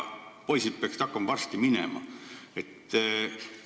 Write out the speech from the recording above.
Poisid peaksid varsti minema hakkama.